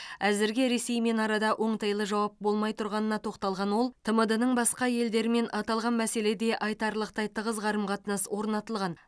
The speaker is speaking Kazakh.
әзірге ресеймен арада оңтайлы жауап болмай тұрғанына тоқталған ол тмд ның басқа елдерімен аталған мәселеде айтарлықтай тығыз қарым қатынас орнатылған